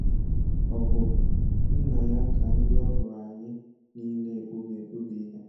Ọgụ nna ya ka ndị ọhụrụ anyị niile egbubi egbubi ihe.